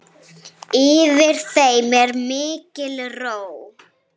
Yfir þeim er mikil ró.